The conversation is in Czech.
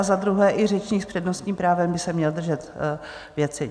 A za druhé, i řečník s přednostním právem by se měl držet věci.